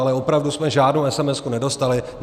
Ale opravdu jsme žádnou esemesku nedostali.